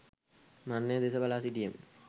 මරණය දෙස බලා සිටියෙමි.